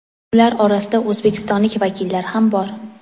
Ular orasida o‘zbekistonlik vakillar ham bor.